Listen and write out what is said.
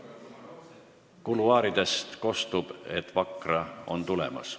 Kuluaaridest kostub, et Vakra on tulemas.